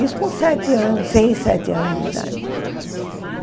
Isso com sete anos, seis, sete anos de idade.